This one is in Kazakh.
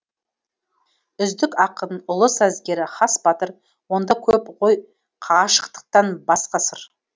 үздік ақын ұлы сазгер хас батыр онда көп қой қашықтықтан басқа сыр